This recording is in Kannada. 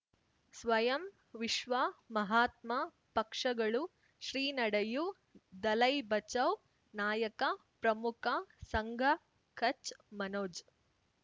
ಸ್ವಯಂ ವಿಶ್ವ ಮಹಾತ್ಮ ಪಕ್ಷಗಳು ಶ್ರೀ ನಡೆಯೂ ದಲೈ ಬಚೌ ನಾಯಕ ಪ್ರಮುಖ ಸಂಘ ಕಚ್ ಮನೋಜ್